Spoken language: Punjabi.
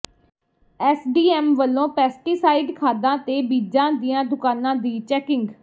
ਐੱਸਡੀਐੱਮ ਵੱਲੋਂ ਪੈਸਟੀਸਾਈਡ ਖਾਦਾਂ ਤੇ ਬੀਜਾਂ ਦੀਆਂ ਦੁਕਾਨਾਂ ਦੀ ਚੈਕਿੰਗ